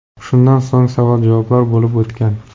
Shundan so‘ng savol-javoblar bo‘lib o‘tgan.